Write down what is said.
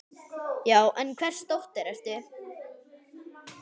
Já, en hvers dóttir ertu.?